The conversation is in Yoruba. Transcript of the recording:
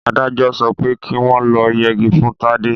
Adájọ sọpẹ́ ki wọ́n lọ yegi fún Tádé.